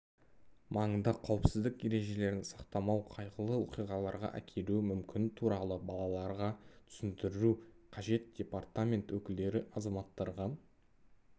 маңында қауіпсіздік ережелерін сақтамау қайғылы оқиғаларға әкелуі мүмкін туралы балаларға түсіндіру қажет департамент өкілдері азаматтарға